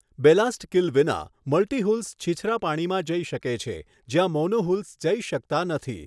Ballast keel વિના, multihulls છીછરા પાણીમાં જઈ શકે છે જ્યાં મોનોહુલ્સ જઈ શકતા નથી.